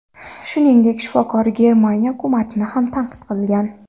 Shuningdek, shifokor Germaniya hukumatini ham tanqid qilgan.